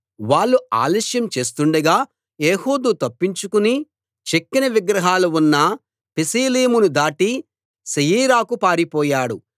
వాళ్ళు ఆలస్యం చేస్తుండగా ఏహూదు తప్పించుకుని చెక్కిన విగ్రహాలు ఉన్న పెసీలీమును దాటి శెయీరాకు పారిపోయాడు